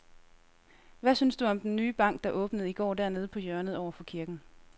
Hvad synes du om den nye bank, der åbnede i går dernede på hjørnet over for kirken?